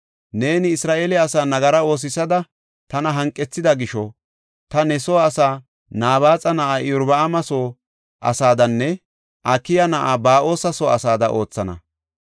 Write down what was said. Neeni Isra7eele asaa nagara oosisada tana hanqethida gisho, ta ne soo asaa Nabaaxa na7aa Iyorbaama soo asaadanne Akiya na7aa Ba7oosa soo asaada oothana.’